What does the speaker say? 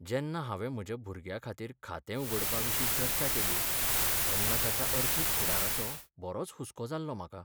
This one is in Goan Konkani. जेन्ना हांवें म्हज्या भुरग्याखातीर खातें उगडपाविशीं चर्चा केली, तेन्ना ताच्या अर्थीक फुडाराचो बरोच हुसको जाल्लो म्हाका.